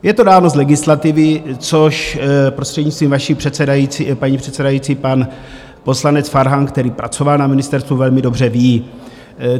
Je to dáno z legislativy, což, prostřednictvím paní předsedající, pan poslanec Farhan, který pracoval na ministerstvu, velmi dobře ví.